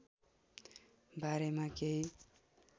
बारेमा केही